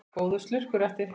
Góður slurkur eftir.